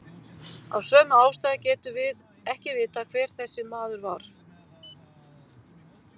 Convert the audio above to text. Af sömu ástæðu getum við ekki vitað hver þessi maður var.